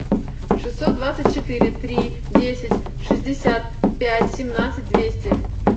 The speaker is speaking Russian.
шестьсот двадцать четыре три десять шестьдесят пять семнадцать двести